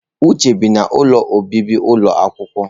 Uche bi n'ụlọ obibi ụlọ akwụkwọ.